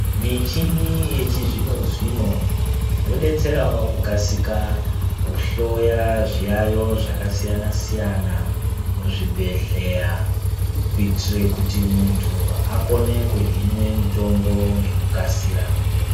Michini yechizvino zvino yodetserawo kukasika kuhloya zviyaiyo zvakasiyana siyana muzvibhehleya kuitire kuti muntu akone kuhinwa mutombo ngekukasira.